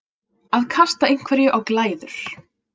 Að kasta einhverju á glæður